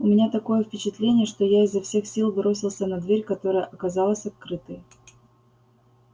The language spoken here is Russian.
у меня такое впечатление что я изо всех сил бросился на дверь которая оказалась открытой